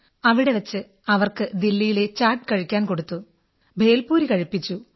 അവിടെ വച്ച് അവർക്ക് ദില്ലിയിലെ ചാഠ് കഴിക്കാൻ കൊടുത്തു ഭേൽ പൂരി കഴിപ്പിച്ചു